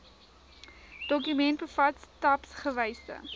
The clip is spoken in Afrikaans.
dokument bevat stapsgewyse